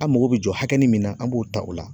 An mako be jɔ hakɛ mun na ,an b'o ta o la.